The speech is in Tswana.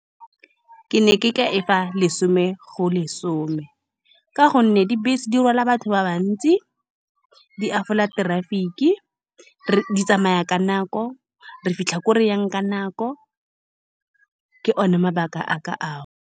Ke ne ke ka e fa lesome go lesome, ka gonne dibese di rwala batho ba le bantsi. Di traffic-i re, di tsamaya ka nako re fitlhla ko re yang ka nako, ke one mabaka a ka ao.